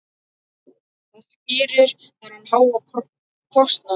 Hvað skýrir þennan háa kostnað?